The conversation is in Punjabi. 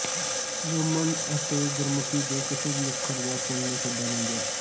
ਰੋਮਨ ਤੇ ਗੁਰਮੁਖੀ ਦੇ ਕਿਸੇ ਵੀ ਅੱਖਰ ਜਾਂ ਚਿੰਨ੍ਹ ਨੂੰ ਛੱਡਿਆ ਨਹੀਂ ਗਿਆ